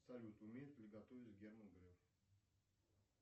салют умеет ли готовить герман греф